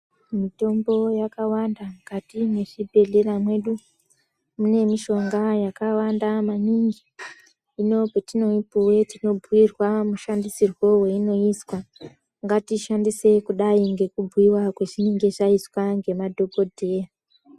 Mitombo yakawanda mukati mezvibhedhlera mwedu mune mishonga yakawanda maningi ndopatino mbuyirwa mushandisirwo yainoizwa ngatishandise kudai ngekubhuyiwa kwazvinenge zvaixwa ngemadhokodheya.